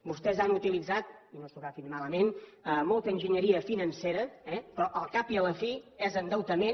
vostès han utilitzat i no s’ho agafin malament molta enginyeria financera eh però al cap i a la fi és endeutament